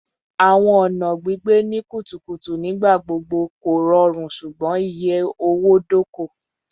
Awọn ọna gbigbe ni kutukutu nigbagbogbo korọrun ṣugbọn iye owo-doko